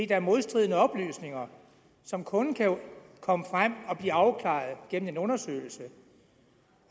der er modstridende oplysninger som kun kan komme frem og blive afklaret gennem en undersøgelse